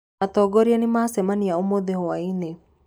Atongoria nĩmacemania ũmũthĩ hwainĩ.